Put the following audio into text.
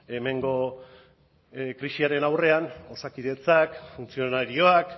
bueno hemengo krisiaren aurrean osakidetzak funtzionarioak